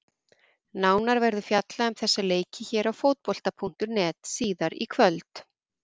Nánar verður fjallað um þessa leiki hér á Fótbolta.net síðar í kvöld.